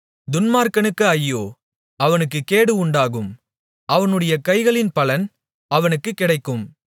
துன்மார்க்கனுக்கு ஐயோ அவனுக்குக் கேடு உண்டாகும் அவனுடைய கைகளின் பலன் அவனுக்குக் கிடைக்கும்